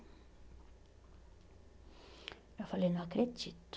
Eu falei, não acredito.